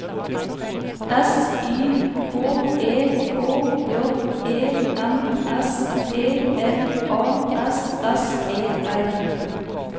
S Y K E H J E M S P L A S S E R